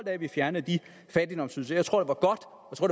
af at vi fjernede de fattigdomsydelser jeg tror det